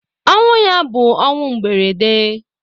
Ọnwụ ya bụ ọnwụ mberede.